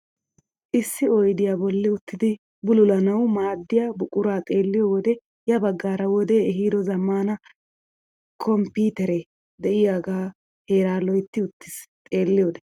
Issi oydiyaa bolli uttidi bululanawu maaddiyaa buquraa xeelliyoo wode ya baggaara wode ehiido zammana komppiteree de'iyaagee heeraa loytti wottiis xeelliyode.